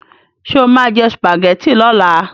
Ṣé o máa jẹ sùpàgẹ́tì lọ́la?